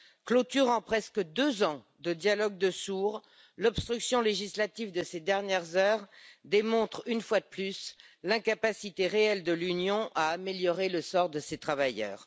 Clôturant presque deux ans de dialogue de sourds, l'obstruction législative de ces dernières heures démontre une fois de plus l'incapacité réelle de l'Union à améliorer le sort de ses travailleurs.